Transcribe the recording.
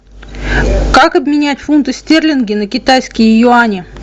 как обменять фунты стерлинги на китайские юани